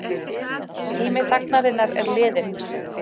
Tími þagnarinnar liðinn